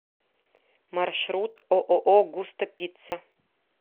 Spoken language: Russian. маршрут ооо густо пицца